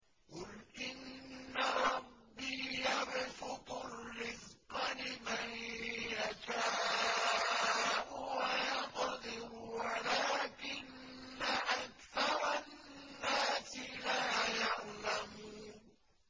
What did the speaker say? قُلْ إِنَّ رَبِّي يَبْسُطُ الرِّزْقَ لِمَن يَشَاءُ وَيَقْدِرُ وَلَٰكِنَّ أَكْثَرَ النَّاسِ لَا يَعْلَمُونَ